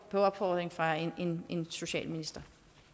på opfordring fra en socialminister